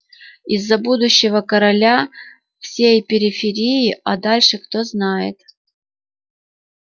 и за будущего короля всей периферии а дальше кто знает